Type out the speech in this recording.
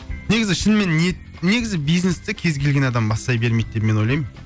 негізі шынымен ниет негізі бизнесті кез келген адам бастай бермейді деп мен ойлаймын